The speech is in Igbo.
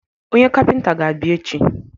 Onye kapịnta ga-abịa echi.